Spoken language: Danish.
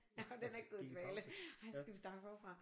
Om den er gået i dvale ej så skal vi starte forfra